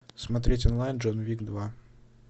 смотреть онлайн джон уик два